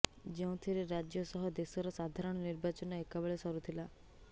ଯେଉଁଥିରେ ରାଜ୍ୟ ସହ ଦେଶର ସାଧାରଣ ନିର୍ବାଚନ ଏକାବେଳେ ସରୁଥିଲା